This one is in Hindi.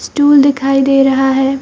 स्टूल दिखाई दे रहा है।